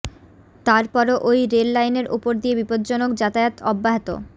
তারপরও ওই রেল লাইনের ওপর দিয়ে বিপজ্জনক যাতায়াত অব্যাহত